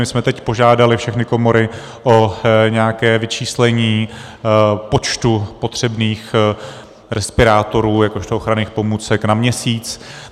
My jsme teď požádali všechny komory o nějaké vyčíslení počtu potřebných respirátorů jakožto ochranných pomůcek na měsíc.